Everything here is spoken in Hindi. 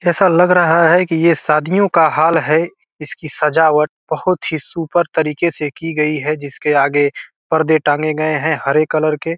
ऐसा लग रहा है के ये शादियों का हाल है | इसकी सजावट बहोत ही सुपर तरीके से की गयी है | जिसके आगे परदे टांगे गए हैं हरे कलर के |